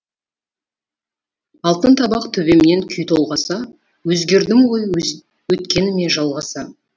алтын табақ төбемнен күй толғаса өзгердім ғой өткеніме жалғаса